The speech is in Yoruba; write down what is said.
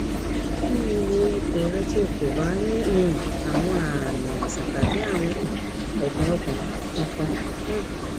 nii wo ipo rẹ ti o ko ba ni um awọn aami aiṣan tabi awọn um ẹdun kankan um